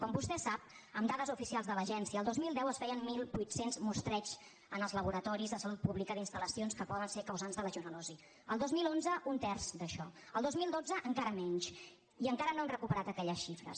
com vostè sap amb dades oficials de l’agència el dos mil deu es feien mil vuit cents mostreigs en els laboratoris de salut pública d’instal·lacions que poden ser causants de legionel·losi el dos mil onze un terç d’això el dos mil dotze encara menys i encara no hem recuperat aquelles xifres